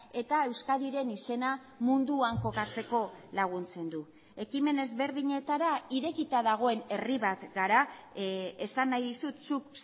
eta euskadiren izena munduan kokatzeko laguntzen du ekimen ezberdinetara irekita dagoen herri bat gara esan nahi dizut zuk